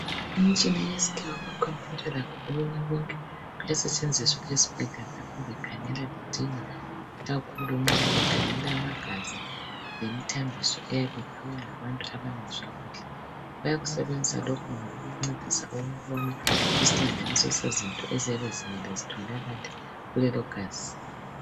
Imitshina yesikhiwa lakho okunye konke kuyasetshenziswa esibhedlela nxa bekhangela bedinga ikakhulu nxa bekhangela amagazi lemithambiso eyabe iphiwe ngabantu abangezwa kuhle. Bayakusebenzisa lokhu ngoba kubancedisa ukubona isihlanganiso sezinto eziyabe zitholakala kulelo gazi.